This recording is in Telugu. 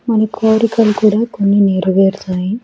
మాన కోరికలు కూడా కొన్ని నెరవేరుతాయి.